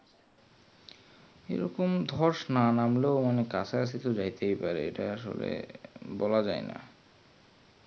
এরকম ধস না নামলেও কাঁচা কচি তো যেতেই পারে বলা যায় না